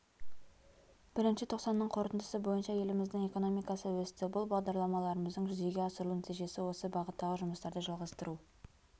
бірінші тоқсанның қорытындысы бойынша еліміздің экономикасы өсті бұл бағдарламаларымыздың жүзеге асырылу нәтижесі осы бағыттағы жұмыстарды жалғастыру